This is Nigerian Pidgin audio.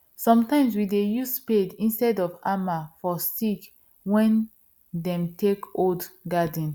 sometimes we dey use spade instead of hammer for stick wen them take hold garden